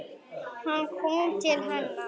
Hann kom til hennar.